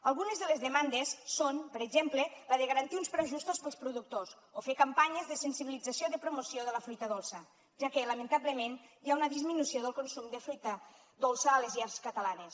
algunes de les demandes són per exemple la de garantir uns preus justos per als productors o fer campanyes de sensibilització de promoció de la fruita dolça ja que lamentablement hi ha una disminució del consum de fruita dolça a les llars catalanes